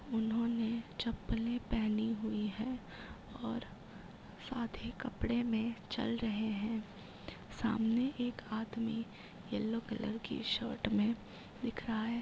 इन्होंने चप्पलें पहनी हुई हैं और आधे कपड़े में चल रहे हैं। सामने एक आदमी येलो कलर की शर्ट में दिख रहा है।